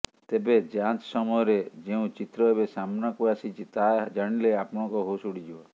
ତେବେ ଯାଞ୍ଚ ସମୟରେ ଯେଉଁ ଚିତ୍ର ଏବେ ସାମ୍ନାକୁ ଆସିଛି ତାହା ଜାଣିଲେ ଆପଣଙ୍କ ହୋସ ଉଡିଯିବ